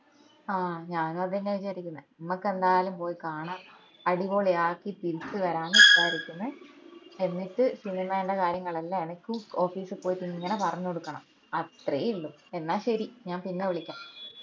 ആഹ് ഞാനും അതെന്നെയാ വിചാരിക്കുന്നെ ഞമ്മക്ക് എന്താലും പോയി കാണാ അടിപൊളിയാക്കി തിരിച്ചു വരാംന്ന് വിചാരിക്കുന്ന്. എന്നിട്ട് സിനിമെന്റ കാര്യങ്ങൾ എല്ലൊം എനിക്കും office പോയിട്ട് ഇങ്ങനെ പറഞ്ഞോടുക്കണം അത്രയേ ഇള്ളു എന്നാ ശെരി ഞാൻ പിന്നെ വിളിക്കാം